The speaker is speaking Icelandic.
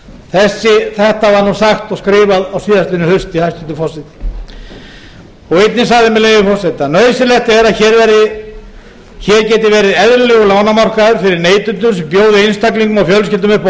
að veruleika þetta var sagt og skrifað á síðastliðnu hausti hæstvirtur forseti einnig sagði með leyfi forseta nauðsynlegt er að hér geti verið eðlilegur lánamarkaður fyrir neytendur sem bjóða fjölskyldum og einstaklingum upp á